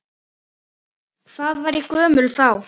Hvað var ég gömul þá?